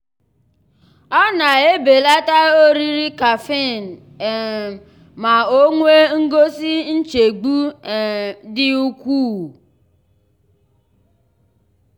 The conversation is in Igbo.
ọ na-ebelata oriri caffeine um ma o nwee ngosi nchegbu um dị ukwuu.